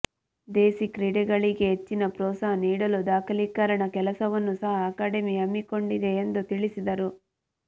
ದೇಸಿ ಕ್ರೀಡೆಗಳಿಗೆ ಹೆಚ್ಚಿನ ಪ್ರೋತ್ಸಾಹ ನೀಡಲು ದಾಖಲೀಕರಣ ಕೆಲಸವನ್ನು ಸಹ ಅಕಾಡೆಮಿ ಹಮ್ಮಿಕೊಂಡಿದೆ ಎಂದು ತಿಳಿಸಿದರು